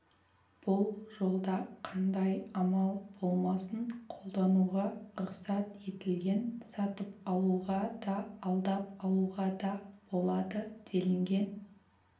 бұл жолда қандай амал болмасын қолдануға рұқсат етілген сатып алуға да алдап алуға да болады делінген